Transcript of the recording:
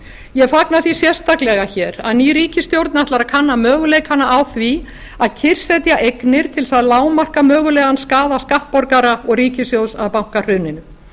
ég fagna því sérstaklega hér að ný ríkisstjórn ætlar að kanna möguleikana á því að kyrrsetja eignir til þess að lágmarka mögulegan skaða skattborgara og ríkissjóðs af bankahruninu